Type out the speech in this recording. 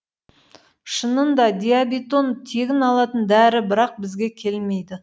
шынында диабетон тегін алатын дәрі бірақ бізге келмейді